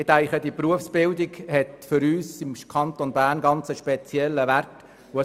Ich denke, dass die Berufsbildung für uns im Kanton Bern eine spezielle Bedeutung hat.